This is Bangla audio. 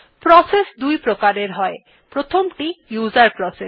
প্রসেস দুইপ্রকার হয় প্রথমটি উসের প্রসেস